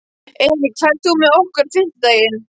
Erik, ferð þú með okkur á fimmtudaginn?